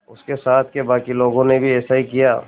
उसके साथ के बाकी लोगों ने भी ऐसा ही किया